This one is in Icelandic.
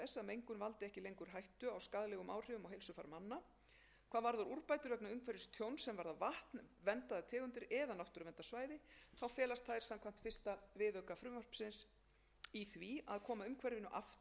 heilsufar manna hvað varðar úrbætur vegna umhverfistjóns sem varða vatn verndaðar tegundir eða náttúruverndarsvæði felast þær samkvæmt fyrsta viðauka frumvarpsins í því að koma umhverfinu aftur